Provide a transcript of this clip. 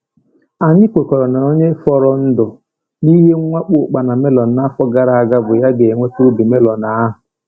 Anyị kwekọrọ na onye fọrọ ndụ n’ihe mwakpo ụkpana melon n’afọ gara aga bụ ya ga-enweta ubi melon ahụ.